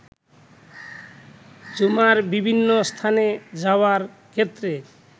ঝুমার বিভিন্ন স্থানে যাওয়ার ক্ষেত্রে